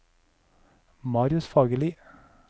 Marius Fagerli